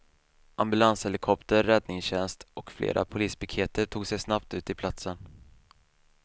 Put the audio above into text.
Ambulanshelikopter, räddningstjänst och flera polispiketer tog sig snabbt ut till platsen.